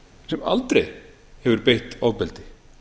sem aldrei hefur beitt ofbeldi